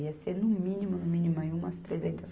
Ia ser, no mínimo, no mínimo aí umas trezentas